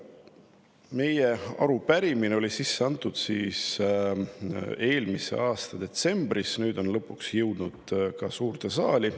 Meie arupärimine sai sisse antud eelmise aasta detsembris, nüüd lõpuks on see jõudnud ka suurde saali.